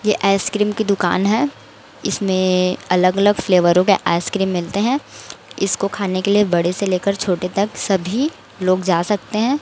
ये आइसक्रीम की दुकान है इसमें अलग अलग फ्लेवरों के आइसक्रीम मिलते हैं इसको खाने के लिए बड़े से लेकर छोटे तक सभी लोग जा सकते हैं।